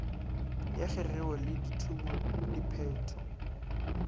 ya kgegeo le dithumo diphetho